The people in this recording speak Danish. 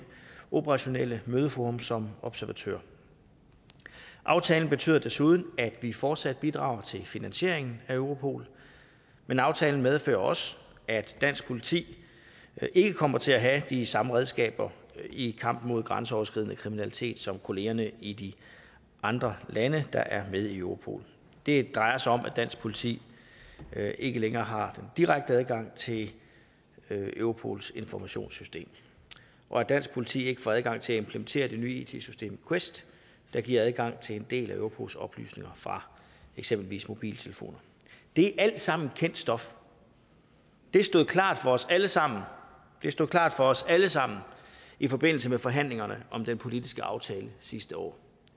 operationelle mødeforum som observatør aftalen betyder desuden at vi fortsat bidrager til finansieringen af europol men aftalen medfører også at dansk politi ikke kommer til at have de samme redskaber i kampen mod grænseoverskridende kriminalitet som kollegaerne i de andre lande der er med i europol det drejer sig om at dansk politi ikke længere har direkte adgang til europols informationssystem og at dansk politi ikke får adgang til at implementere det nye it system quest der giver adgang til en del af europols oplysninger fra eksempelvis mobiltelefoner det er alt sammen kendt stof det stod klart for os alle sammen det stod klart for os alle sammen i forbindelse med forhandlingerne om den politiske aftale sidste år